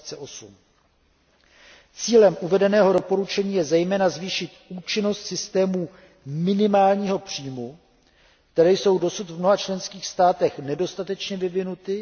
2008. Cílem uvedeného doporučení je zejména zvýšit účinnost systémů minimálního příjmu, které jsou dosud v mnoha členských státech nedostatečně vyvinuty.